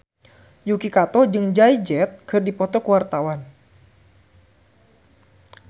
Yuki Kato jeung Jay Z keur dipoto ku wartawan